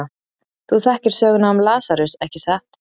Þú þekkir söguna um Lasarus, ekki satt?